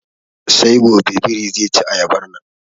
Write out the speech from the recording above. Sai gobe birin ze ci ayabar nan.